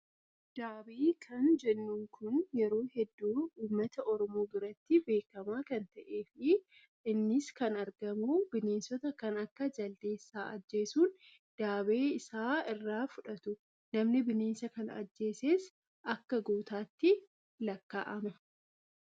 Daabee kan jennuun kun yeroo hedduu uummata oromoo biratti beekamaa kan ta'ee fi innis kan argamu bineensota kan akka jaldeessaa ajjeessuun daabee isaa irraa fudhatu. Namni bineensa kana ajjeeses akka gootaatti lakkaa'ama.